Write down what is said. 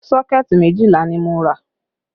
Sọ́kẹ̀tì méjìlá ni mo rà